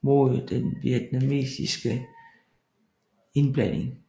mod den vietnamesiske indblanding